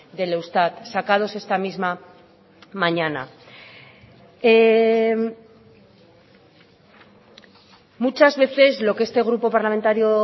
del eustat sacados esta misma mañana muchas veces lo que este grupo parlamentario